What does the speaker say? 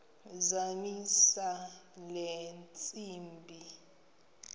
zamisa le ntsimbi